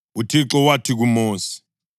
UThixo wathi kuMosi,